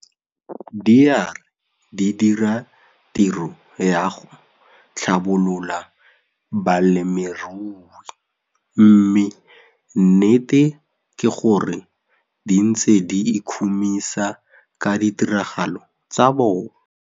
Di a re di dira tiro ya go tlhabolola balemirui mme nnete ke gore di ntse di ikhumisa ka ditiragalo tsa bona.